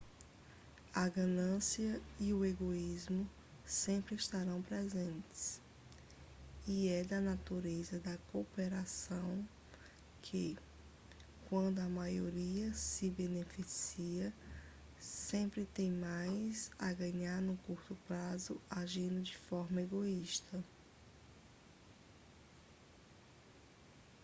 a ganância e o egoísmo sempre estarão presentes e é da natureza da cooperação que quando a maioria se beneficia sempre tem mais a ganhar no curto prazo agindo de forma egoísta